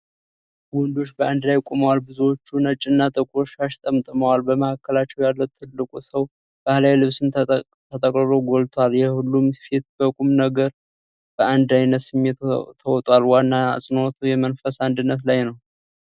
ወንዶች በአንድ ላይ ቆመዋል፤ ብዙዎቹም ነጭና ጥቁር ሻሽ ተጠቅልለዋል። በመሀከላቸው ያለው ትልቁ ሰው ባሕላዊ ልብሱን ተጠቅልሎ ጎልቷል። የሁሉም ፊት በቁም ነገርና በአንድ ዓይነት ስሜት ተውጧል። ዋና አጽንዖቱ የመንፈስ አንድነት ላይ ነው።